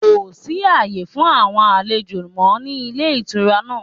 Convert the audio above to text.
Kò sí àyè fún àwon àlejò mọ́ ní Ilé Ìtura náà